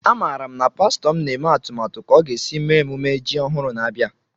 A mara m na pastọ m na-eme atụmatụ ka o ga esi mee emume ji ọhụrụ na-abịa